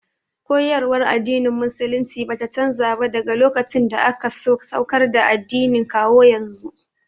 Koyarwar addinin musulunci bata canza ba daga lokacin da aka saukar da addinin kawo yanzu